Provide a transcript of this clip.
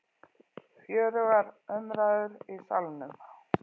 Fjörugur umræður í Salnum